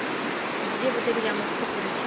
где в отеле я могу покурить